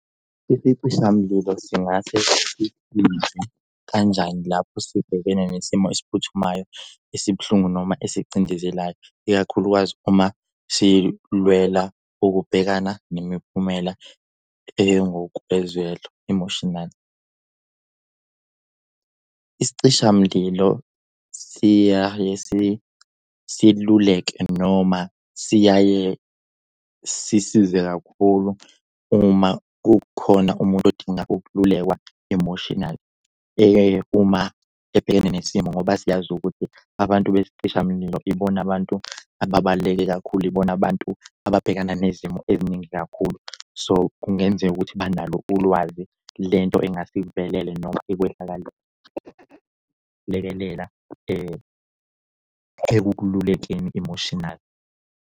Isichishamlilo singase sisize kanjani lapho sibhekene nesimo esiphuthumayo esibuhlungu noma esicindezelayo, ikakhulukazi uma silwela ukubhekana nemiphumela engokwezwelo emotionally? Isicishamlilo siyaye siluleke noma siyaye sisize kakhulu uma kukhona umuntu odinga ukululekwa emotionally uma ebhekene nesimo ngoba siyazi ukuthi abantu besicishamlilo ibona abantu ababaluleke kakhulu. Ibona abantu ababhekana nezimo eziningi kakhulu. So kungenzeka ukuthi banalo ulwazi lento engase ikuvelele noma ekwehlakalele. Lekelela ekululekeni emotional.